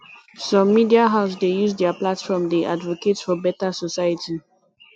some media house dey use their platform dey advocate for better society